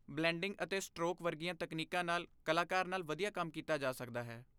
Blending ਅਤੇ stroke ਵਰਗੀਆਂ ਤਕਨੀਕਾਂ ਨਾਲ ਕਲਾਕਾਰ ਨਾਲ ਵਧੀਆ ਕੰਮ ਕੀਤਾ ਜਾ ਸਕਦਾ ਹੈ।